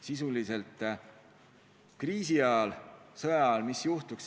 Mis juhtuks kriisi ajal või sõja ajal?